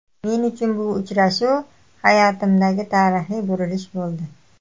Men uchun bu uchrashuv hayotimdagi tarixiy burilish bo‘ldi.